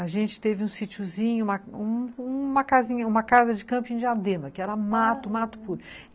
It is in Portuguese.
A gente teve um sitiozinho, uma uma uma uma casinha, uma casa de camping em Diadema, que era mato, mato puro aham.